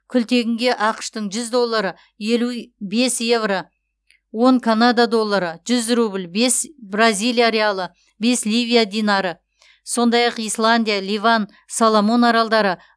күлтегінге ақш тың жүз доллары елу бес еуро он канада доллары жүз рубль бес бразилия реалы бес ливия динары сондай ақ исландия ливан соломон аралдары